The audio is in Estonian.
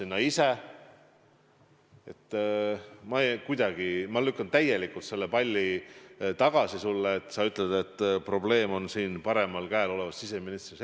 Ma lükkan selle palli sulle täielikult tagasi, kui sa ütled, et probleem on minu paremal käel olevas siseministris.